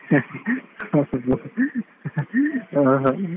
ಓಹೋ.